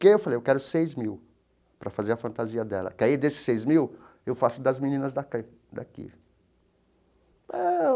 Que eu falei eu quero seis mil para fazer a fantasia dela, que aí desses seis mil eu faço das meninas daqui eh.